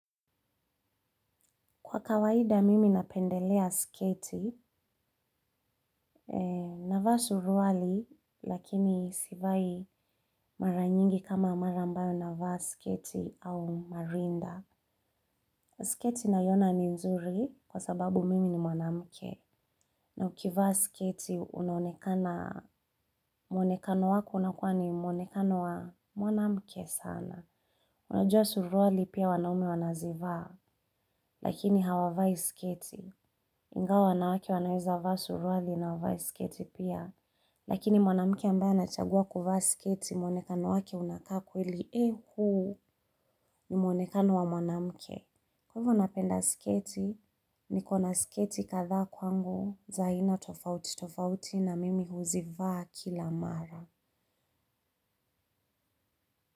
Kwa kawaida mimi napendelea sketi, navaa suruali lakini sivai mara nyingi kama mara ambayo navaa sketi au marinda. Sketi naiona ni nzuri kwa sababu mimi ni mwanamke. Na ukivaa sketi unonekana, mwonekano wako unakuwa ni mwonekano wa mwanamke sana. Unajua suruali pia wanaume wanazivaa lakini hawavai sketi. Ingawa wanawake wanaweza vaa suruali na wavae sketi pia, lakini mwanamke ambaye anachagua kuvaa sketi mwonekano wake unakaa kweli ni mwonekano wa mwanamuke. Kwa hivyo napenda sketi, nikona sketi kadhaa kwangu, za aina tofauti tofauti na mimi huzivaa kila mara.